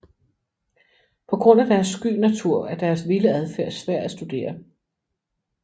På grund af deres sky natur er deres vilde adfærd svær at studere